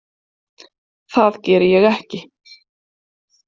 Það geri ég ekki.